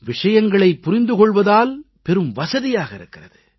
விஷயங்களைப் புரிந்து கொள்வதால் பெரும் வசதியாக இருக்கிறது